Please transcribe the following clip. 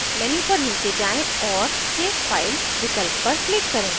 menu पर नीचे जाएँ और save file विकल्प पर click करें